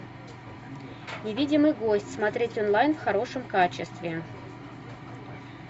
невидимый гость смотреть онлайн в хорошем качестве